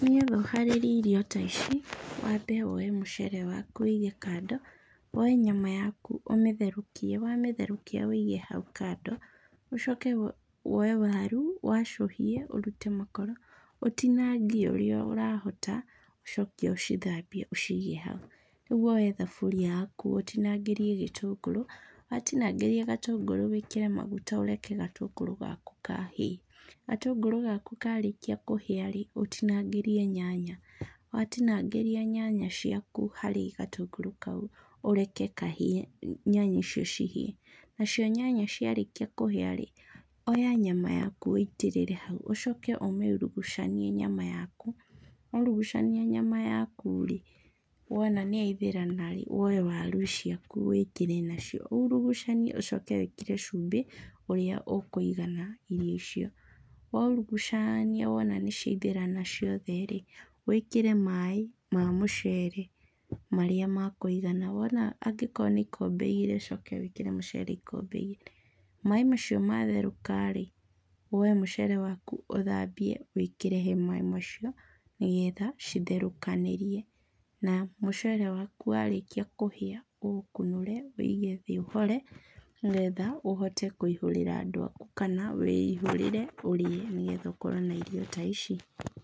Nĩgetha ũharĩrie irio ta ici, wambe woe mũcere waku wĩige kando, woe nyama yaku ũmĩtherũkie, wamĩtherũkia wĩige hau kando. Ũcoke woe waru wacũhie ũrute makoro, ũtinangie ũrĩa ũrahota, ũcoke ũcithambie ũciige hau. Rĩu woe thaburia yaku ũtinangĩrie gĩtũngũrũ, watinangĩria gatũngũrũ wĩkĩre maguta ũreke gatũngũrũ gaku kahĩe. Gatũngũrũ gaku karĩkia kũhĩa-rĩ, ũtinangĩrie nyanya, watinangĩria nyanya ciaku harĩ gatũngũrũ kau ũreke kahĩe, nyanya icio cihĩe. Nacio nyanya ciarĩkia kũhĩa-rĩ, oya nyama yaku wĩitĩrĩre hau, ũcoke ũmĩurugucanie nyama yaku, waurugucania nyama yaku-rĩ, wona nĩyaithĩrana-rĩ, woe waru ciaku wĩkĩre nacio urugucanie ũcoke wĩkĩre cumbĩ ũrĩa ũkũigana irio icio. Waurugucaania wona nĩciaithĩrana ciothe-rĩ, wĩkĩre maĩ ma mũcere marĩa makũigana, wona angĩkorwo nĩ ikombe igĩrĩ ũcoke wĩkĩre mũcere ikombe igĩrĩ. Maĩ macio matherũka-rĩ, woe mũcere waku ũthambie, wĩkĩre he maĩ macio nĩgetha citherũkanĩrie na mũcere waku warĩkia kũhĩa ũũkunũre ũwĩige thĩ ũhore, nĩgetha ũhote kũihũrĩra andũ aku kana wĩihũrĩre ũrĩe, nĩgetha ũkorwo na irio ta ici.